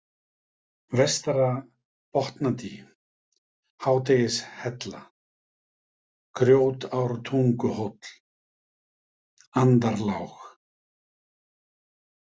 Vestara-Botnadý, Hádegishella, Grjótártunguhóll, Andarlág